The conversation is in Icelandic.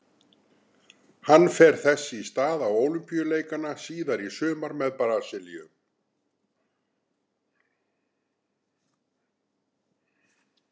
Hann fer þess í stað á Ólympíuleikana síðar í sumar með Brasilíu.